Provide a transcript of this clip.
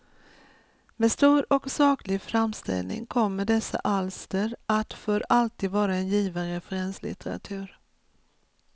Med stor och saklig framställning kommer dessa alster att för alltid vara en given referenslitteratur.